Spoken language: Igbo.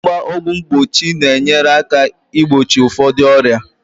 Ịgba ọgwụ mgbochi ga-enyere aka igbochi ụfọdụ ọrịa